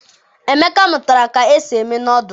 emeka mụtara ka esi eme nọdụlụ.